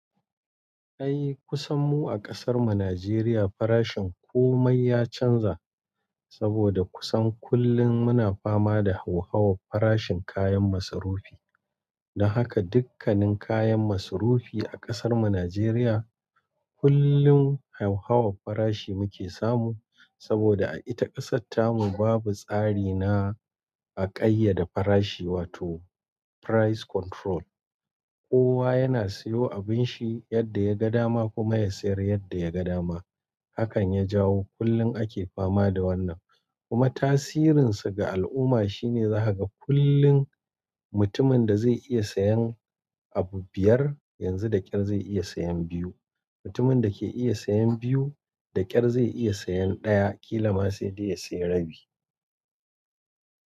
Ai kusan mu a kasar mu Najeriya farashin komai ya canja saboda kusan kullum muna fama da hauhawar farashin kayan masarufi. Da haka dukkannin kayan masarufi a kasar mu Najeriya kullum hauhawar farashi muke samu saboda a ita kasatar mu babu tsari na a ƙayyade farashi wato price control. Kowa yana siyo abin shi yadda ya ga dama kuma ya sayar yadda ya ga dama. Hakan ya jawo kullum ake fama da wannan kuma tasirin sa ga al'umma shine zaka ga kullum mutumin da zai iya sayan abu biyar yanzu da ƙyar zai iya sayan biyu. Mutumin da ke iya sayan biyu da ƙyar zai iya sayan ɗaya. Kila ma sai dai ya sayi rabi.